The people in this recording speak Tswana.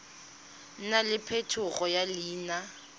nna le phetogo ya leina